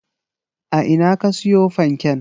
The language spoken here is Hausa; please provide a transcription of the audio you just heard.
A ina ka siyo fanken?